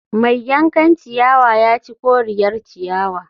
Mai yankan ciyawa ya ci koriyar ciyawa